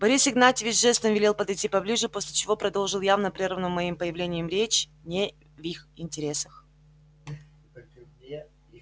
борис игнатьевич жестом велел подойти поближе после чего продолжил явно прерванную моим появлением речь не в их интересах